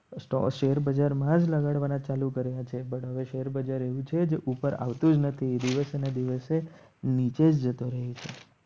તો શેર બજાર માં જ લગાડવાના ચાલુ કર્યા છે પણ હવે શેર બજાર એવું છે જ ઉપર આવતું જ નથી દિવસ અને દિવસે નીચે જતો રહે છે